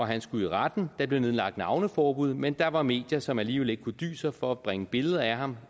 han skulle i retten der blev nedlagt navneforbud men der var medier som alligevel ikke kunne dy sig for at bringe billeder af ham